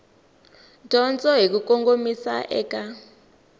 dyondzo hi ku kongomisa eka